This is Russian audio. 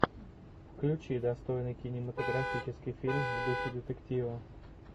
включи достойный кинематографический фильм в духе детектива